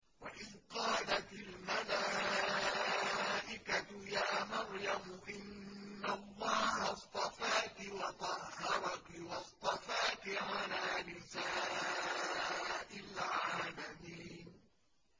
وَإِذْ قَالَتِ الْمَلَائِكَةُ يَا مَرْيَمُ إِنَّ اللَّهَ اصْطَفَاكِ وَطَهَّرَكِ وَاصْطَفَاكِ عَلَىٰ نِسَاءِ الْعَالَمِينَ